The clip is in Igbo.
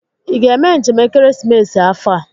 Ị ga-eme njem ekeresimesi afọ a?